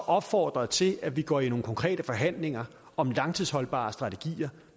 opfordret til at vi går i nogle konkrete forhandlinger om langtidsholdbare strategier